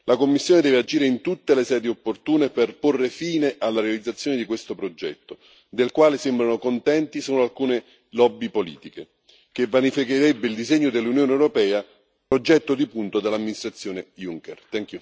La Commissione deve agire in tutte le sedi opportune per porre fine alla realizzazione di questo progetto del quale sembrano contente sono alcune lobby politiche che vanificherebbe il disegno dell'Unione europea, progetto di punta dall'amministrazione Juncker.